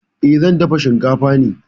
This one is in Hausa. Eh, zan dafa shinkafa ne.